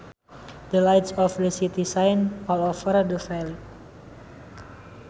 The lights of the city shine all over the valley